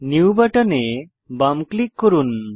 new বাটনে বাম click করুন